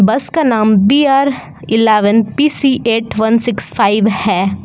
बस का नाम B R eleven P C eight one six five हैं।